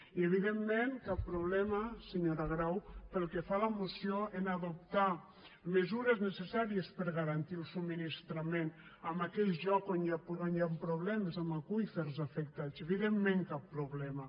i evidentment cap problema senyora grau pel que fa a la moció a adoptar mesures necessàries per a garantir el subministrament en aquells llocs on hi han problemes amb aqüífers afectats evidentment cap problema